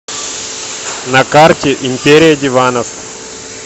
на карте империя диванов